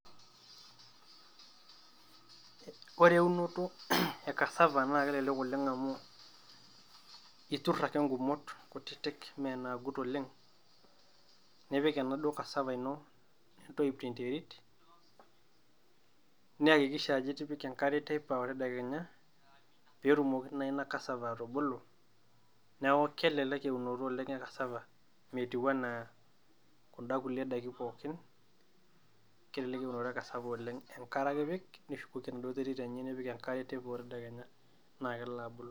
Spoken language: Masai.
Ore eunoto e kasava naa kelelek oleng amu iturr ake ing`umot kutiti mme naagut oleng. Nipik enaduo kasava ino nintoyip te nterit, niyakikisha ajo itipika enkare teipa o tedekenya. Pee etumoki naa ina kasava atubulu niaku kelelek oleng e wunoto e kasava metiu enaa kun`da kulie daiki pookin. Kelelek e unoto e kasava oleng enkare ake ipik nishukoki enaduo terit enye, nipik enkare teipa o tedekenya.